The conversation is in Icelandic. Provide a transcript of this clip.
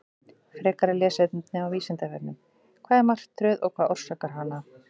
Frekara lesefni á Vísindavefnum: Hvað er martröð og hvað orsakar hana?